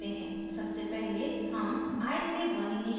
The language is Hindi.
सबसे पहले हम i से 1 इनीशिलाइज करते हैं